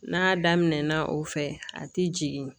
N'a daminɛna o fɛ a ti jigin